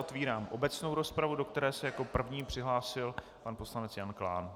Otevírám obecnou rozpravu, do které se jako první přihlásil pan poslanec Jan Klán.